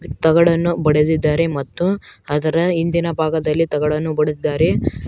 ತಗಡನ್ನು ಬಡೆದಿದ್ದಾರೆ ಮತ್ತು ಅದರ ಹಿಂದಿನ ಭಾಗದಲ್ಲಿ ತಗಡನ್ನು ಬಿಡೆಡಿದ್ದಾರೆ.